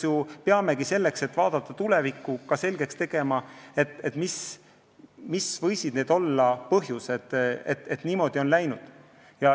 Just selleks, et vaadata tulevikku, on vaja selgeks teha, mis võisid olla need põhjused, et niimoodi on läinud.